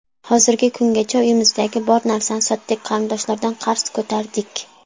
Hozirgi kungacha uyimizdagi bor narsani sotdik, qarindoshlardan qarz ko‘tardik.